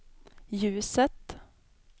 ljuset